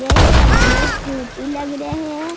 ये है ए में बहुत क्यूटी लग रहे है ।